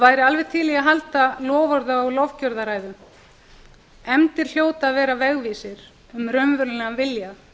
væri alveg til í að halda loforða og lofgjörðaræðu efndir hljóta að vera vegvísir um raunverulegan vilja